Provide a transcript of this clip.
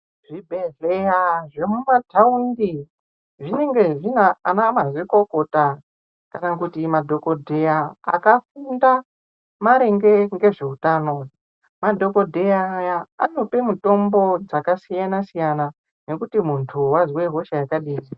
Zvibhedhlera zvemumataundi zvinenge zvine ana mazvikokota kana kuti madhokodheya akafunda maringe ngezveutano . Madhokodheya aya anope mutombo dzakasiyana siyana nekuti muntu wazwe hosha yakadini.